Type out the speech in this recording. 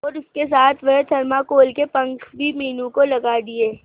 और उसके साथ वह थर्माकोल के पंख भी मीनू को लगा दिए